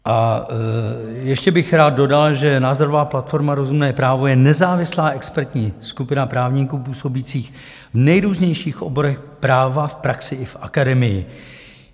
A ještě bych rád dodal, že názorová platforma Rozumné právo je nezávislá expertní skupina právníků působících v nejrůznějších oborech práva v praxi i v akademii.